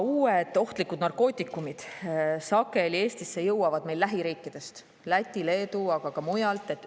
" Uued ohtlikud narkootikumid jõuavad Eestisse sageli lähiriikidest – Lätist ja Leedust, aga ka mujalt.